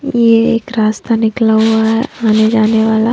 ये एक रास्ता निकला हुआ है आने जाने --